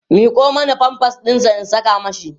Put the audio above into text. miƙo Mani pampers ɗinsa in Saka mashi